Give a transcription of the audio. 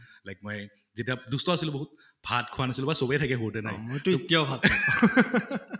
like মই যেতিয়া দুষ্ট আছিলো বহুত ভাত খোৱা নাছিলে বা চবে থাকে সৰুতে না মইটো এতিয়াও